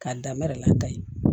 K'a da mɛrɛla ta ye